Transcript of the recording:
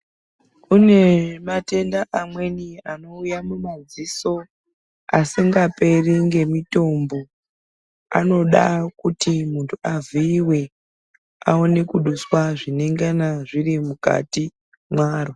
Kunematenda amweni anouya mumaziso asingaperi ngemitombo. Anoda kuti muntu aviyiwe awone kudusiwa zvinengana zvirimukati mwaro.